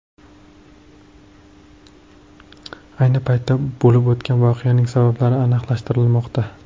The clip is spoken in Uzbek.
Ayni paytda bo‘lib o‘tgan voqeaning sabablari aniqlashtirilmoqda.